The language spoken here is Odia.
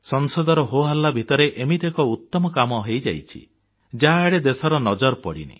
ସଂସଦର ହୋହଲ୍ଲା ଭିତରେ ଏମିତି ଏକ ଉତ୍ତମ କାମ ହୋଇଯାଇଛି ଯାହାଆଡ଼େ ଦେଶର ନଜର ପଡ଼ିନି